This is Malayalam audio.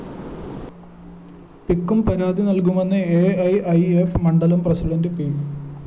പിക്കും പരാതി നല്‍കുമെന്ന് അ ഇ ഇ ഫ്‌ മണ്ഡലം പ്രസിഡന്റ് പി